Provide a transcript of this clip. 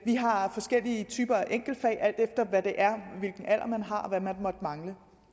vi har forskellige typer af enkeltfag alt efter hvilken alder man har og hvad man måtte mangle